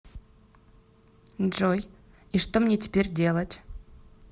джой и что мне теперь делать